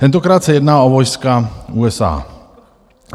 Tentokrát se jedná o vojska USA.